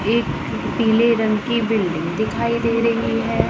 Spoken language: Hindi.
एक पीले रंग की बिल्डिंग दिखाई दे रही है।